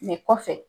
kɔfɛ